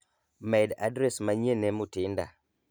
med adres manyien ne Mutinda